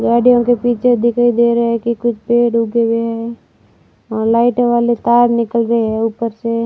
गाड़ियों के पीछे दिखाई दे रहा है कि कुछ पेड़ उगे हुए हैं अं लाइट वाले तार निकल रहे हैं ऊपर से--